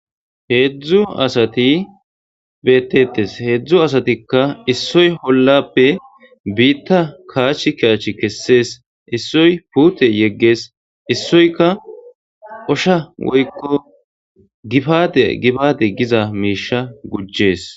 heedzdzu asati beettettes heedzdzu asatikka issoy hollappe biitta kaach kiyachi kessees issoy puute yeggees issoyka osha woykko gibade gibaade giza miisha gujjees